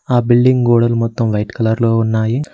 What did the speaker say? ఆ బిల్డింగ్ గోడలు మొత్తం వైట్ కలర్ లో ఉన్నాయి.